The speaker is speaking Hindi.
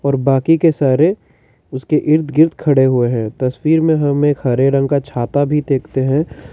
बाकी के सारे उसके इर्द गिर्द खड़े हुए हैं तस्वीर में हम एक हरे रंग का छत भी देखते हैं।